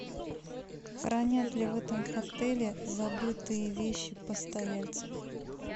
хранят ли в этом отеле забытые вещи постояльцев